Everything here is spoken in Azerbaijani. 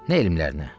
Nə elmlərinə.